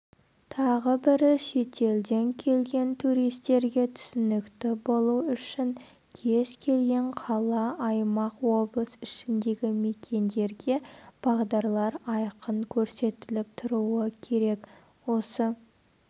тағы бірі шетелден келген туристерге түсінікті болу үшін кез келген қала аймақ облыс ішіндегі мекендерге бағдарлар айқын көрсетіліп тұруы керек осы